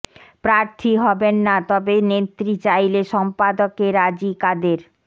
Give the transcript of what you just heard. প্রার্থী হবেন না তবে নেত্রী চাইলে সম্পাদকে রাজি কাদের